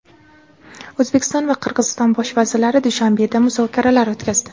O‘zbekiston va Qirg‘iziston bosh vazirlari Dushanbeda muzokaralar o‘tkazdi.